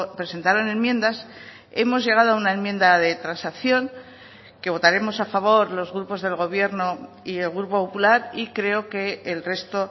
presentaron enmiendas hemos llegado a una enmienda de transacción que votaremos a favor los grupos del gobierno y el grupo popular y creo que el resto